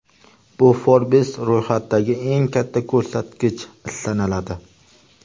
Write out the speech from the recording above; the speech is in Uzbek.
Bu Forbes ro‘yxatidagi eng katta ko‘rsatkich sanaladi.